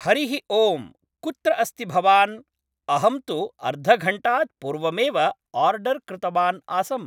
हरिः ओं कुत्र अस्ति भवान् अहं तु अर्धघण्टात् पूर्वमेव आर्डर् कृतवान् आसम्